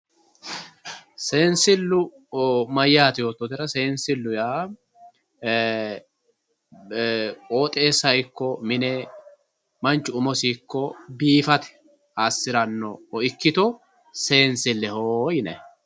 Seensilu mayyate yoottotera ,seensilu yaa e"ee e"ee qooxxeessa ikko mine manchu umosi biifate assirano ikkitto seensileho yinanni.